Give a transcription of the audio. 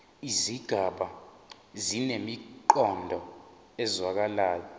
izigaba zinemiqondo ezwakalayo